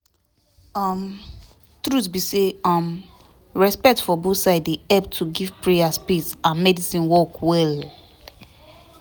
um truth be say um respect for both side dey help to give prayer space and medicine work well